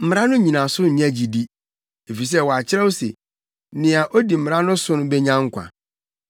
Mmara no nnyinaso nyɛ gyidi; efisɛ wɔakyerɛw se nea odi mmara no so benya nkwa.